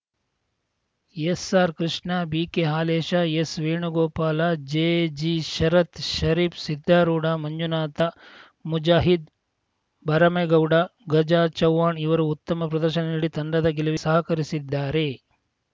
ಎಸ್‌ಆರ್‌ಕೃಷ್ಣ ಬಿಕೆಹಾಲೇಶ ಎಸ್‌ವೇಣುಗೋಪಾಲ ಜೆಜಿಶರತ್‌ ಶರೀಫ್‌ ಸಿದ್ಧಾರೂಢಮಂಜುನಾಥ ಮುಜಾಹಿದ್‌ ಭರಮಗೌಡ ಗಜ ಚೌಹಾಣ್‌ ಇವರು ಉತ್ತಮ ಪ್ರದರ್ಶನ ನೀಡಿ ತಂಡದ ಗೆಲುವಿಗೆ ಸಹಕರಿಸಿದ್ದಾರೆ